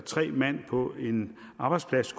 tre mand på en arbejdsplads